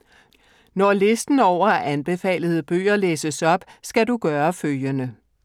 Når listen over anbefalede bøger læses op, skal du gøre følgende: